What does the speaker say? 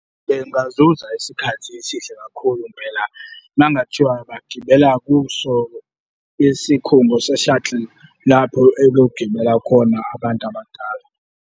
Bengazuza isikhathi esihle kakhulu impela uma kungathiwa bagibela kuso le sikhungo se-shuttle, lapho ekuyogibela khona abantu abadala.